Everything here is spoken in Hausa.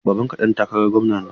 Babanka ɗan takarar gwamna ne?